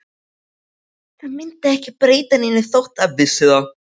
Það myndi ekki breyta neinu þótt það vissi það.